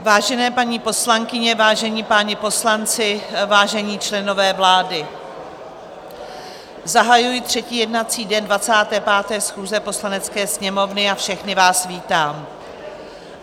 Vážené paní poslankyně, vážení páni poslanci, vážení členové vlády, zahajuji třetí jednací den 25. schůze Poslanecké sněmovny a všechny vás vítám.